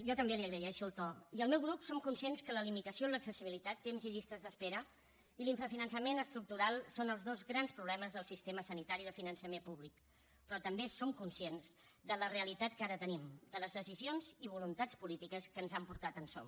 jo també li agraeixo el to i al meu grup som conscients que la limitació en l’accessibilitat temps i llistes d’espera i l’infrafinançament estructural són els dos grans problemes del sistema sanitari de finançament públic però també som conscients de la realitat que ara tenim de les decisions i voluntats polítiques que ens han portat on som